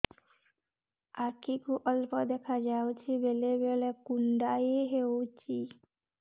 ଆଖି କୁ ଅଳ୍ପ ଦେଖା ଯାଉଛି ବେଳେ ବେଳେ କୁଣ୍ଡାଇ ହଉଛି